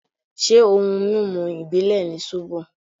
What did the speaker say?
Ṣé ohun mímu ìbílè ni sóbò.?